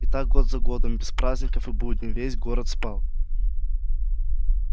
и так за годом год без праздников и будней весь город спал